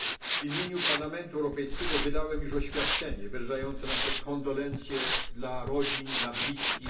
na Sycylii. W imieniu Parlamentu Europejskiego wydałem już oświadczenie wyrażające nasze kondolencje dla rodzin,